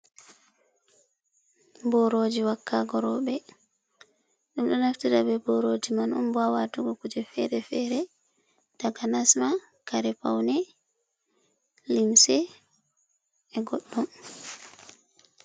Boroji wakago robe, dum do naftira be boroji man on hawatugo kuje fere-fere takanasma kare pauni limse e goddum.